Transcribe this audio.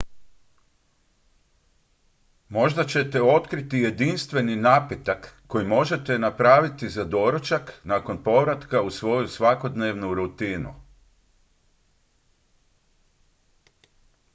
možda ćete otkriti jednostavni napitak koji možete napraviti za doručak nakon povratka u svoju svakodnevnu rutinu